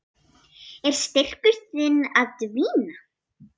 Er styrkur þinn að dvína?